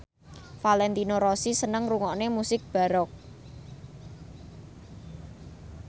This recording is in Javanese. Valentino Rossi seneng ngrungokne musik baroque